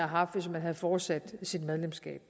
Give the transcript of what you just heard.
haft hvis man havde fortsat sit medlemskab